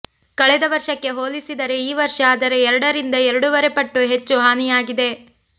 ಕಳೆದ ವರ್ಷಕ್ಕೆ ಹೋಲಿಸಿದರೆ ಈ ವರ್ಷ ಅದರ ಎರಡರಿಂದ ಎರಡೂವರೆ ಪಟ್ಟು ಹೆಚ್ಚು ಹಾನಿಯಾಗಿದೆ